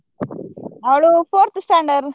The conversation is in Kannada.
ಅವ್ಳು fourth standard .